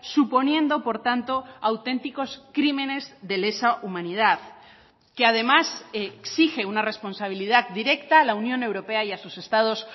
suponiendo por tanto auténticos crímenes de lesa humanidad que además exige una responsabilidad directa a la unión europea y a sus estados